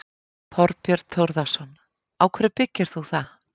Þorbjörn Þórðarson: Á hverju byggir þú það?